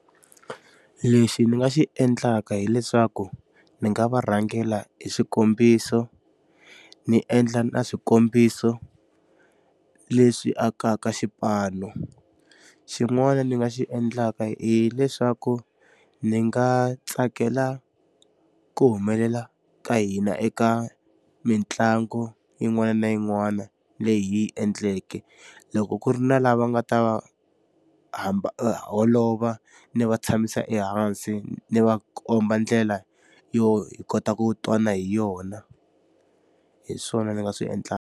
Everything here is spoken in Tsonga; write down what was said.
Lexi ndzi nga xi endlaka hileswaku ndzi nga va rhangela hi xikombiso, ndzi endla na swikombiso leswi akaka xipano. Xin'wana ndzi nga xi endlaka hileswaku ndzi nga tsakela ku humelela ka hina eka mitlangu yin'wana na yin'wana leyi hi yi endleke. Loko ku ri na lava nga ta va holova ndzi va tshamisa ehansi, ni va komba ndlela yo hi kota ku twana hi yona. Hi swona ndzi nga swi endlaka.